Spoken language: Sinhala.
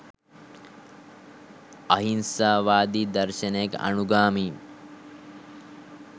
අහිංසා වාදී දර්ශනයක අනුගාමී